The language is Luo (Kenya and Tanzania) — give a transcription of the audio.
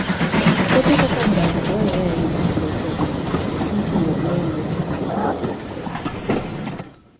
Puothe kaka ngano dwarore ahinya e loso mogo mitiyogo e loso makate kod pasta.